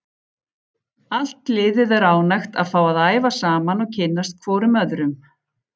Allt liðið er ánægt að fá að æfa saman og kynnast hvorum öðrum.